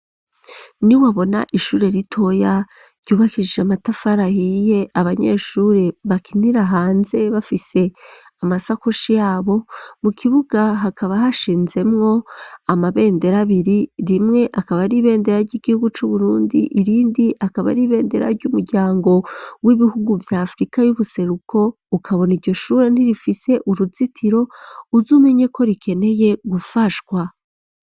Ni wabona ishure ritoya ryubakirije matafarahiye abanyeshuri bakinira hanze. Bafise amasakoshi yabo mu kibuga hakaba hashinzemwo amabendera abiri rimwe akaba aribendera ry'igihugu cu burundi irindi akaba aribendera ry'umuryango w'ibihugu vya afurika y'ubuseruko ukabona iryo shure nti rifise uruzitiro uzo menye ko rikeneye gufashwa.